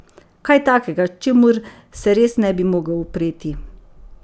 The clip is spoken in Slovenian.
Kaj takega, čemur se res ne bi mogel upreti.